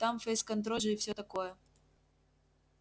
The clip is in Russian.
там фейс-контроль же и всё такое